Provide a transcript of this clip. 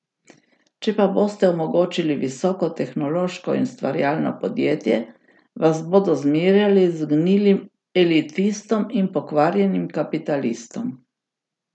Če pa boste omogočili visoko tehnološko in ustvarjalno podjetje, vas bodo zmerjali z gnilim elitistom in pokvarjenim kapitalistom.